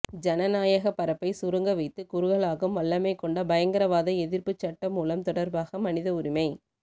ஜனநாயகப் பரப்பை சுருங்கவைத்துக் குறுகலாக்கும் வல்லமைகொண்ட பயங்கரவாத எதிர்ப்புச் சட்டமூலம் தொடர்பாக மனித உரிமை